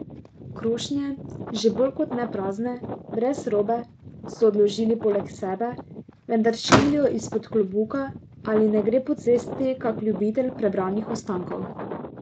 Krošnje, že bolj ko ne prazne, brez robe, so odložili poleg sebe, vendar škilijo izpod klobuka, ali ne gre po cesti kak ljubitelj prebranih ostankov.